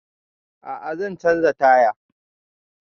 A'a zan canza taya